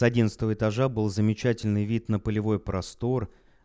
с одиннадцатого этажа был замечательный вид на полевой простор